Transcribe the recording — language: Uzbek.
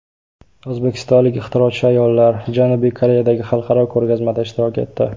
O‘zbekistonlik ixtirochi ayollar Janubiy Koreyadagi xalqaro ko‘rgazmada ishtirok etdi.